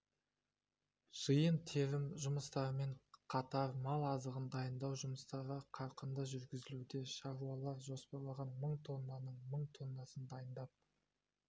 жиын-терім жұмыстарымен қатар мал азығын дайындау жұмыстары қарқынды жүргізілуде шаруалар жоспарланған мың тоннаның мың тоннасын дайындап